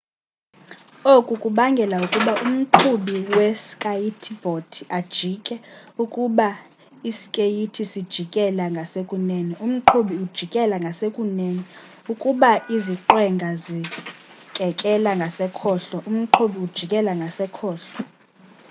oku kubangela ukuba umqhubi we skayiti bhodi ajike ukuba ii skeyithi sijikela ngasekunene umqhubi ujikela ngasekunene ukuba iziqwenga zikekelela ngasekhohlo umqhubi ujikela ngasekhohlo